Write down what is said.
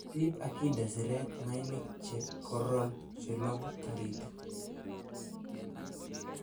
Riib ak inde siret mainik che koroon chelogu toritik.